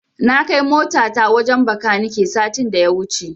Na kai motata wajen Bakanike satin da ya wuce.